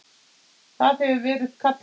Það hefur verið kallað